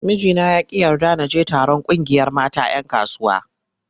Mijina ya ƙi yarda na je taron ƙungiyar mata 'yan kasuwa.